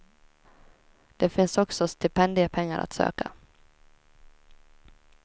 Det finns också stipendiepengar att söka.